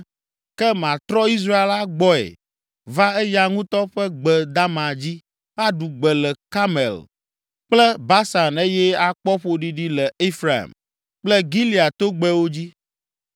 Ke matrɔ Israel agbɔe va eya ŋutɔ ƒe gbe dama dzi, aɖu gbe le Karmel kple Basan eye akpɔ ƒoɖiɖi le Efraim kple Gilead togbɛwo dzi.”